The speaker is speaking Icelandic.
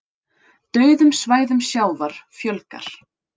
Dauðum svæðum sjávar fjölgar